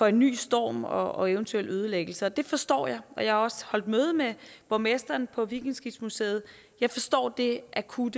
en ny storm og eventuel ødelæggelse det forstår jeg og jeg har også holdt møde med borgmesteren på vikingeskibsmuseet jeg forstår det akutte